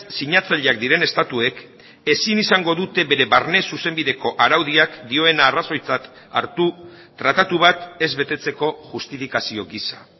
sinatzaileak diren estatuek ezin izango dute bere barne zuzenbideko araudiak dioena arrazoitzat hartu tratatu bat ez betetzeko justifikazio gisa